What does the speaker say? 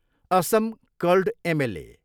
Assam called MLA.